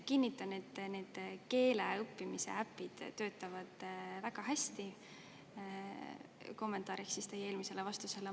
Kinnitan, et need keele õppimise äpid töötavad väga hästi, see on kommentaariks teie eelmisele vastusele.